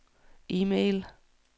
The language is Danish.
e-mail